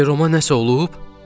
Ceromə nəsə olub?